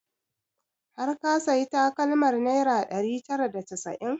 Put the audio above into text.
Har ka sayi takalmar naira ɗari tara da casa'in?